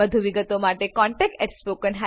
વધુ વિગતો માટે કૃપા કરી contactspoken tutorialorg પર લખો